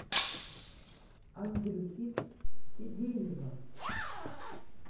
андрюхи тедеева